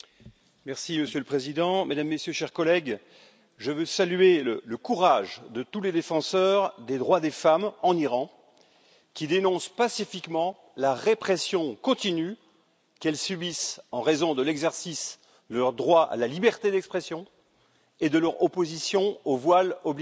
Monsieur le Président, Mesdames, Messieurs, chers collègues, je veux saluer le courage de tous les défenseurs des droits des femmes en Iran, qui dénoncent pacifiquement la répression continue qu'elles subissent en raison de l'exercice de leur droit à la liberté d'expression et de leur opposition au voile obligatoire.